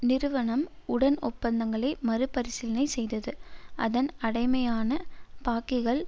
நிறுவனம் உடன் ஒப்பந்தங்களை மறு பரிசீலனை செய்தது அதன் அடைமான பாக்கிகள்